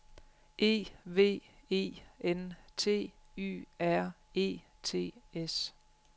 E V E N T Y R E T S